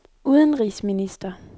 udenrigsminister